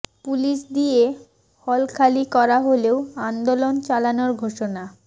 police দিয়ে hall খালি করা হলেও আন্দোলন চালানোর ঘোষণা